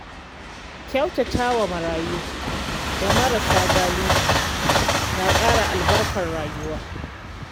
Kyautata wa marayu da marasa galihu na ƙara albarkar rayuwa.